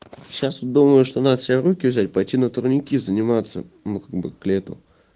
сейчас вот думаю что надо себя в руки взять пойти на турники заниматься ну как бы к лету